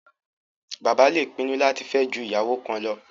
Bàbá le pinnu láti fẹ́ ju ìyàwó kan lọ